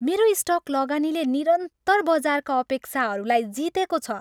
मेरो स्टक लगानीले निरन्तर बजारका अपेक्षाहरूलाई जितेको छ।